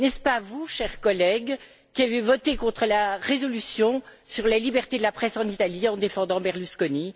N'est ce pas vous, chers collègues, qui avez voté contre la résolution sur la liberté la presse en Italie en défendant Berlusconi?